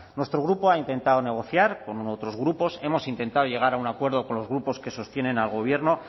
nuestro grupo ha intentado negociar con otros grupos hemos intentado llegar a un acuerdo con los grupos que sostienen al gobierno